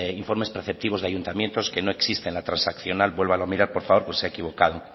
informes preceptivos de ayuntamientos que no existe la transaccional vuélvalo a mirar por favor pues se ha equivocado